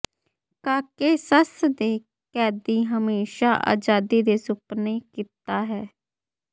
Caucasus ਦੇ ਕੈਦੀ ਹਮੇਸ਼ਾ ਆਜ਼ਾਦੀ ਦੇ ਸੁਪਨੇ ਕੀਤਾ ਹੈ